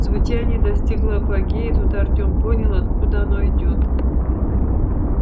звучание достигло апогея и тут артём понял откуда оно идёт